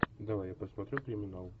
давай я посмотрю криминал